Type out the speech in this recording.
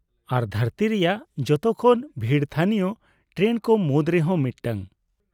ᱟᱨ ᱫᱷᱟᱹᱨᱛᱤ ᱨᱮᱭᱟᱜ ᱡᱚᱛᱚ ᱠᱷᱚᱱ ᱵᱷᱤᱲ ᱛᱷᱟᱹᱱᱤᱭᱚ ᱴᱨᱮᱱ ᱠᱚ ᱢᱩᱫ ᱨᱮᱦᱚᱸ ᱢᱤᱫᱴᱟᱝ ᱾